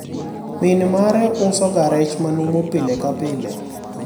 min mare usoga rech manumu pile ka pile